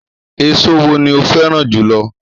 Èso wo ni o fẹ́ràn jù lọ?